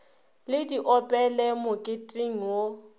le di opele moketeng wo